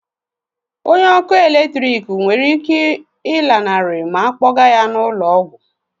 Onye ọkụ eletrik nwere ike ịlanarị ma a kpọga ya n'ụlọ ọgwụ?